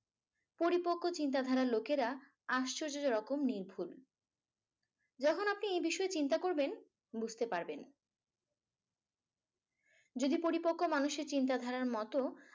পরিপক্ক চিন্তাধারার লোকেরা আশ্চর্যজনক নির্ভুল। যখন আপনি এ বিষয়ে চিন্তা করবেন বুঝতে পারবেন। যদি পরিপক্ক মানুষের চিন্তাধারার মতো।